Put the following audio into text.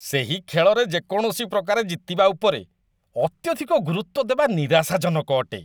ସେହି ଖେଳରେ ଯେ କୌଣସି ପ୍ରକାରେ ଜିତିବା ଉପରେ ଅତ୍ୟଧିକ ଗୁରୁତ୍ୱ ଦେବା ନିରାଶାଜନକ ଅଟେ।